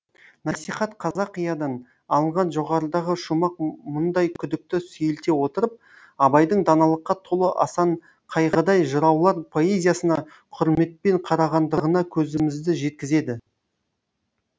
насихат қазақиядан алынған жоғарыдағы шумақ мұндай күдікті сейілте отырып абайдың даналыққа толы асанқайғыдай жыраулар поэзиясына құрметпен қарағандығына көзімізді жеткізеді